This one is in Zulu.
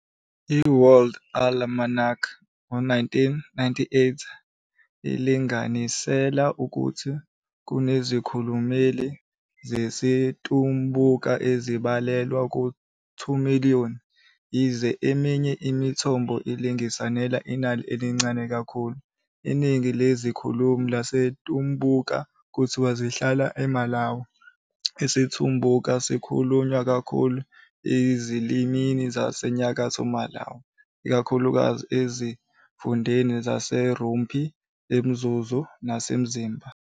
I-World Almanac, 1998, ilinganisela ukuthi kunezikhulumi zesiTumbuka ezibalelwa ku-2 000 000,yize eminye imithombo ilinganisela inani elincane kakhulu. Iningi lezikhulumi zesiTumbuka kuthiwa zihlala eMalawi. IsiTumbuka sikhulunywa kakhulu ezilimini zaseNyakatho Malawi, ikakhulukazi ezifundeni zaseRumphi, eMzuzu, naseMzimba.